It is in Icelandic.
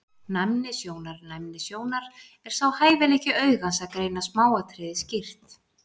Næmni sjónar Næmni sjónar er sá hæfileiki augans að greina smáatriði skýrt.